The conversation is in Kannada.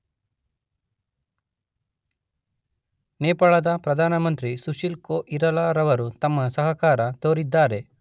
ನೇಪಾಳದ ಪ್ರಧಾನ ಮಂತ್ರಿ ಸುಶಿಲ್ ಕೊಇರಲ ರವರು ತಮ್ಮ ಸಹಕಾರ ತೋರಿದಾರೆ.